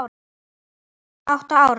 Átta ára